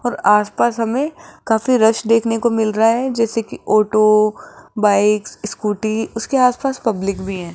और आस पास हमें काफी रश देखने को मिल रहा है जैसे कि ऑटो बाइक्स स्कूटी उसके आस पास पब्लिक भी है।